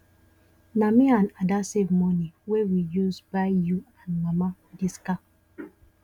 na me and ada save money wey we use buy you and mama dis car